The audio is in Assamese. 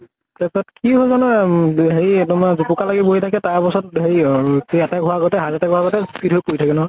তাৰ পিছত কি হল জানো এ উম হেৰি তোমাৰ জোপোকা লাগি বহি থাকে তাৰ পাছত হেৰি আৰ সেই attack হোৱাৰ আগতে heart attack হোৱাৰ আগতে ফীট হৈ পৰি থাকে নহয়।